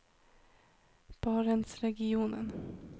barentsregionen